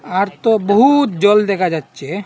আর তো বহুত জল দেখা যাচ্চে ।